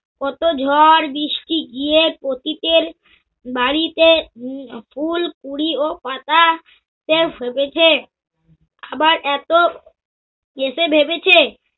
কত ঝর বৃষ্টি গিয়ে পতিতের বাড়িতে উম ফুল, কুড়ি ও পাতা সে ফুটেছে। আবার এত এসে ভেবেছে।